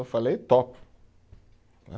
Eu falei, topo, né